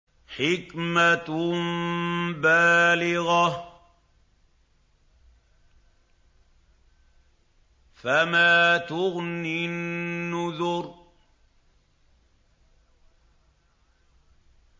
حِكْمَةٌ بَالِغَةٌ ۖ فَمَا تُغْنِ النُّذُرُ